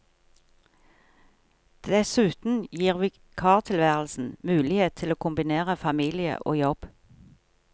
Dessuten gir vikartilværelsen mulighet til å kombinere familie og jobb.